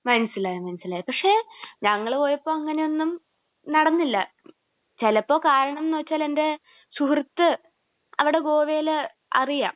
മനസ്സിലായി മനസ്സിലായി. പക്ഷേ ഞങ്ങൾ പോയപ്പോൾ അങ്ങനെയൊന്നും നടന്നില്ല. ചെലപ്പം കാരണം എന്നു വച്ചാൽ എന്റെ സുഹൃത്ത് അവിടെ ഗോവയിൽ അറിയാം.